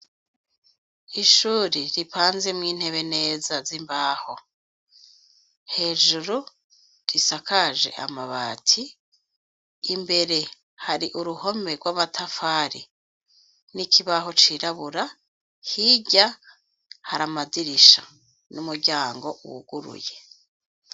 Ishure ripanzemwo neza intebe z'imbaho hejuru risakaje amabati, imbere har'uruhome rw'amatafari n'ikibaho cirabura, hirya har'amadirisha n'umuryango wuguruye.